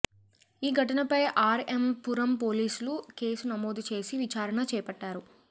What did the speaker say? ఈ ఘటనపై ఆర్ఎం పురం పోలీసులు కేసు నమోదుచేసి విచారణ చేపట్టారు